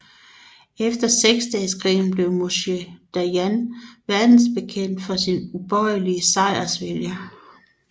Efter Seksdageskrigen blev Moshe Dayan verdenskendt for sin ubøjelige sejrsvilje